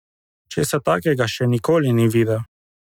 Česa takega še nikoli ni videl!